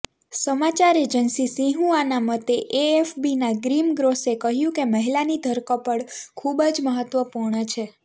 સમાચાર એજન્સી સિન્હુઆના મતે એએફબીના ગ્રીમ ગ્રોસે કહ્યું કે મહિલાની ધરપકડ ખૂબ જ મહત્વપૂર્ણ છે